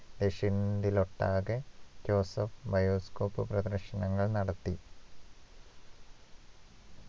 ദേശങ്ങളിലൊട്ടാകെ Joseph bioscope പ്രദർശനങ്ങൾ നടത്തി